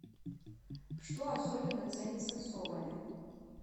что особенно ценится в соболе